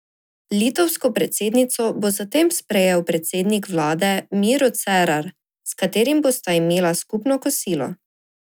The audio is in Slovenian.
Litovsko predsednico bo zatem sprejel predsednik vlade Miro Cerar, s katerim bosta imela skupno kosilo.